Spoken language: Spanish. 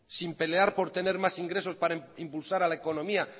sin pelear por tener más ingresos para impulsar a la economía